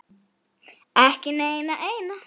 Ekki neina eina.